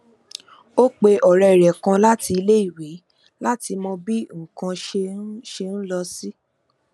ó pe òré rè kan láti iléèwé láti mọ bí nǹkan ṣe ń ṣe ń lọ sí